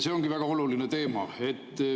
See ongi väga oluline teema.